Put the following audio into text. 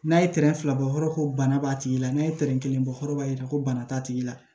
N'a ye tɛrɛn fila bɔ yɔrɔ ko bana b'a tigi la n'a ye tɛrɛn kelen bɔ yɔrɔ b'a jira ko bana t'a tigi la